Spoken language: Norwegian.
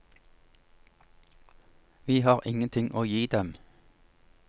Vi har ingenting å gi dem.